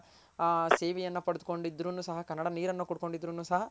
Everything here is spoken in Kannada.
ಆ ಸೇವೆಯನ್ನ ಪಡೆದ್ ಕೊಂಡ್ ಇದ್ರು ಸಹ ಕನ್ನಡ ನೀರನ್ ಕುಡ್ಕೊಂಡ್ ಇದ್ರುನು ಸಹ